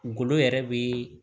Golo yɛrɛ be